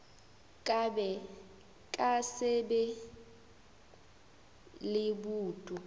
ka se be le boutu